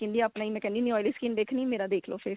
skin ਦੀ ਆਪਣੇ ਹੀ ਮੈਂ ਕਹਿਨੀ ਹੁਨੀ ਆਂ oily skin ਦੇਖਣੀ ਏ ਮੇਰਾ ਦੇਖਲੋ face